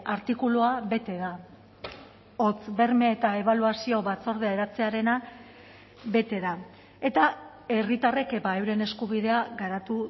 artikulua bete da hots berme eta ebaluazio batzordea eratzearena bete da eta herritarrek euren eskubidea garatu